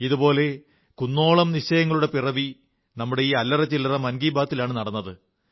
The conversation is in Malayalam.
ഇതുപോലുള്ള കുന്നോളം നിശ്ചയങ്ങളുടെ പിറവി നമ്മുടെ ഈ അല്ലറചില്ലറ മൻ കീ ബാത്തിലാണ് നടന്നത്